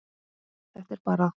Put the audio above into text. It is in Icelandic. Þetta er bara.